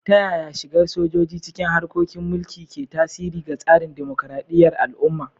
Ta yaya shigar sojoji cikin harkokin mulki ke tasiri ga tsarin dimokuradiyyar al'umma?